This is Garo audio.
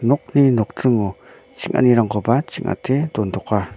nokni nokdringo ching·anirangkoba ching·ate dontoka.